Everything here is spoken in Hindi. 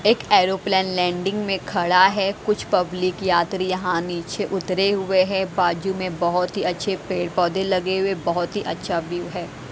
एक एरोप्लेन लैंडिंग में खड़ा है कुछ पब्लिक यात्री यहाँ नीचे उतरे हुए हैं बाजू में बहुत ही अच्छे पेड़-पौधे लगे हुए बहुत ही अच्छा व्यू है।